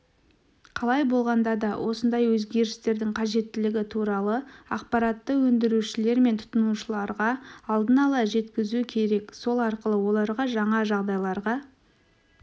қалай болғанда да осындай өзгерістердің қажеттілігі туралы ақпаратты өндірушілер мен тұтынушыларға алдын-ала жеткізу керек сол арқылы оларға жаңа жағдайларға